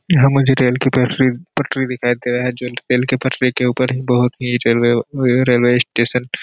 यहाँ मुझे रेल की पटरी पटरी दिखाई दे रहा है जो रेल के पटरी के ऊपर एक बहुत ही रेलवे रेलवे स्टेशन --